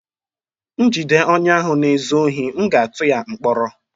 M jide onye ahụ na-ezu ohi, m ga-atụ ya mkpọrọ